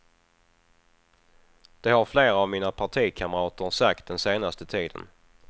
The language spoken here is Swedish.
Det har flera av mina partikamrater sagt den senaste tiden.